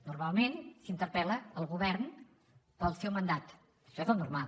normalment s’interpel·la el govern pel seu mandat això és el normal